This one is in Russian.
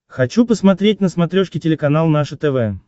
хочу посмотреть на смотрешке телеканал наше тв